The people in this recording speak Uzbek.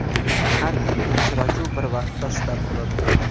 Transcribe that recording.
Har ikki uchrashuv bir vaqtda start oladi.